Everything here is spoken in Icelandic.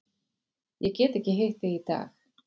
Ég get ekki hitt þig í dag.